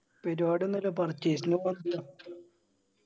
പെരുവാടി ഒന്നില്ല purchase ന് പോവണത്രെ